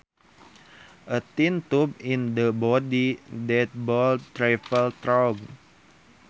A tiny tube in the body that blood travels through